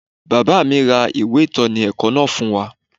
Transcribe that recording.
Bàbá mi ra ìwé ìtọ́ni ẹ̀kọ́ náà fún wa